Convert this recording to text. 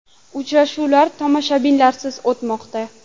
Uchrashuvlar tomoshabinlarsiz o‘tmoqda.